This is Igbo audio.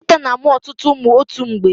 Nkịta na-amụ ọtụtụ ụmụ otu mgbe.